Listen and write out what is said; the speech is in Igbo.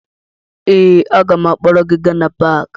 Ee, aga m akpọrọ gị gaa na paakị